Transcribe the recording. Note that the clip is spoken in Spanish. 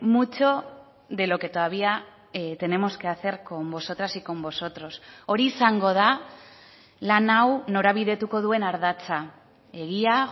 mucho de lo que todavía tenemos que hacer con vosotras y con vosotros hori izango da lan hau norabidetuko duen ardatza egia